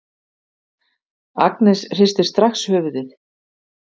Agnes hristir strax höfuðið.